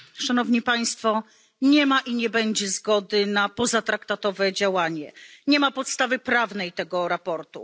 Nie ma i nie będzie zgody na pozatraktatowe działanie, nie ma podstawy prawnej dla tego sprawozdania.